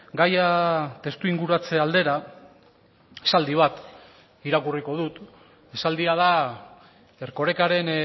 gaia testu inguratze aldera esaldi bat irakurriko dut esaldia da erkorekaren